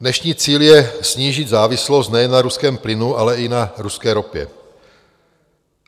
Dnešní cíl je snížit závislost nejen na ruském plynu, ale i na ruské ropě.